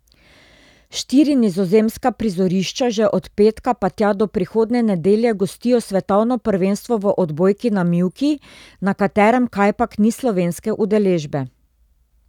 Štiri nizozemska prizorišča že od petka pa tja do prihodnje nedelje gostijo svetovno prvenstvo v odbojki na mivki, na katerem kajpak ni slovenske udeležbe.